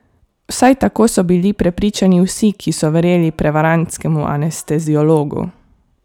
Vsaj tako so bili prepričani vsi, ki so verjeli prevarantskemu anesteziologu!